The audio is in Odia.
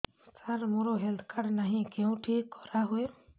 ସାର ମୋର ହେଲ୍ଥ କାର୍ଡ ନାହିଁ କେଉଁଠି କରା ହୁଏ